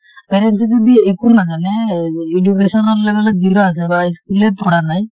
parents এ যদি একো নাজানে education ৰ level ত zero আছে বা school য়ে পঢ়া নাই